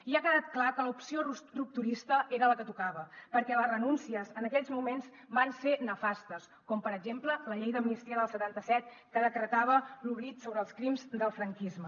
i ha quedat clar que l’opció rupturista era la que tocava perquè les renúncies en aquells moments van ser nefastes com per exemple la llei d’amnistia del setanta set que decretava l’oblit sobre els crims del franquisme